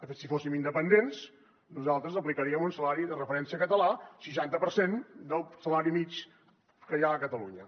de fet si fóssim independents nosaltres aplicaríem un salari de referència català seixanta per cent del salari mitjà que hi ha a catalunya